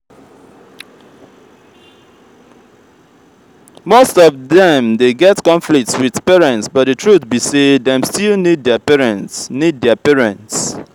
most of them de get conflicts with parents but the truth be say dem still need their parents need their parents